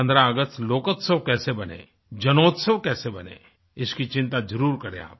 15 अगस्त लोकोत्सव कैसे बने जनोत्सव कैसे बने इसकी चिंता जरुर करें आप